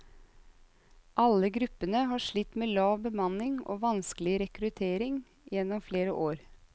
Alle gruppene har slitt med lav bemanning og vanskelig rekruttering gjennom flere år.